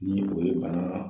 Ni o ye Bana